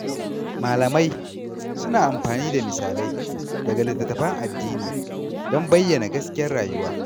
Malamai suna amfani da misalai daga littattafan addini don bayyana gaskiyar rayuwa.